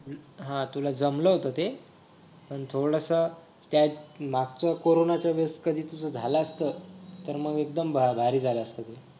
हा तुला जमलं होतं ते पण थोडासा त्यात मागच्या कोरोनाच्या वेळी कधी तुझं झालं असतं तर मग एकदम भारी झालं असतं